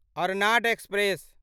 Arnad express